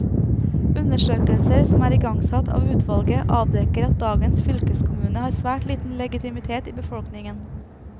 Undersøkelser som er igangsatt av utvalget, avdekker at dagens fylkeskommune har svært liten legitimitet i befolkningen.